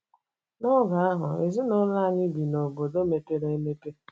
N'oge ahụ, Ezinụlọ anyị bi n'obodo mepere emepe.